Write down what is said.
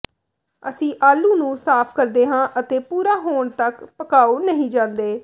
ਅਸੀਂ ਆਲੂ ਨੂੰ ਸਾਫ਼ ਕਰਦੇ ਹਾਂ ਅਤੇ ਪੂਰਾ ਹੋਣ ਤੱਕ ਪਕਾਉ ਨਹੀਂ ਜਾਂਦੇ